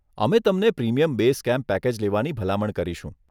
અમે તમને premium base camp package લેવાની ભલામણ કરીશું.